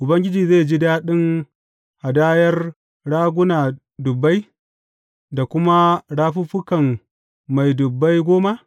Ubangiji zai ji daɗin hadayar raguna dubbai da kuma rafuffukan mai dubbai goma?